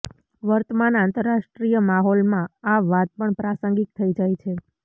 વર્તમાન આંતરરાષ્ટ્રીય માહોલ માં આ વાત પણ પ્રાસંગિક થઈ જાય છે